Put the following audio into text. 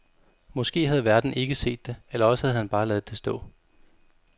Måske havde værten ikke set det, eller også havde han bare ladet det stå.